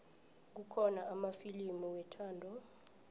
kukhona amafilimu wethando